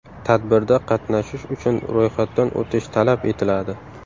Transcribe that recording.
Tadbirda qatnashish uchun ro‘yxatdan o‘tish talab etiladi.